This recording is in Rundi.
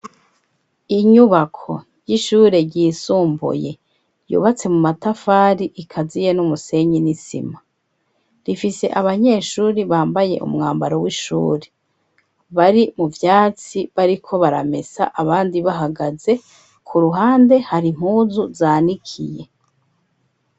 Inyubako y'ishure ryisumbuye yubatse mu matafari ikaziye n'umusenyi n'isima, rifise abanyeshuri bambaye umwambaro w'ishuri bari mu vyatsi bariko baramesa abandi bahagaze, ku ruhande hari mpuzu zanikiye.